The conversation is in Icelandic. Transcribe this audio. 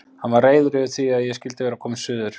Hann var reiður yfir því að ég skyldi vera komin suður.